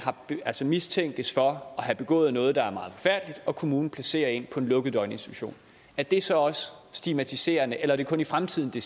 mistænkes for at have begået noget der er meget forfærdeligt og kommunen placerer en på en lukket døgninstitution er det så også stigmatiserende eller er det kun i fremtiden det